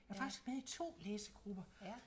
Jeg er faktisk med i 2 læsegrupper